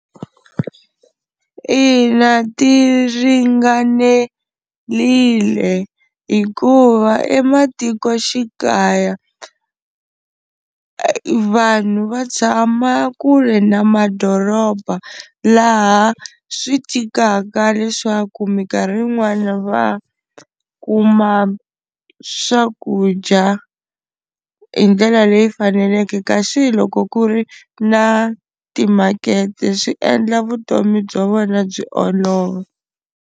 Ina ti ringanerile hikuva ematikoxikaya vanhu va tshama kule na madoroba, laha swi tikaka leswaku minkarhi yin'wana va kuma swakudya hi ndlela leyi faneleke kasi loko ku ri na timakete swi endla vutomi bya vona byi olova.